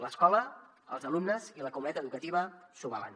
l’escola els alumnes i la comunitat educativa s’ho valen